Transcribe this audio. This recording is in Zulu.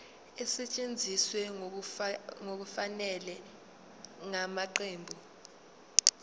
esetshenziswe ngokungafanele ngamaqembu